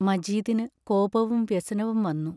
മജീദിനു കോപവും വ്യസനവും വന്നു.